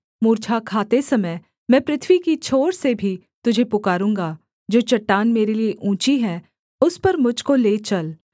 मूर्छा खाते समय मैं पृथ्वी की छोर से भी तुझे पुकारूँगा जो चट्टान मेरे लिये ऊँची है उस पर मुझ को ले चल